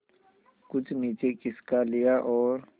कुछ नीचे खिसका लिया और